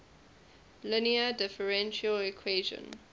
linear differential equation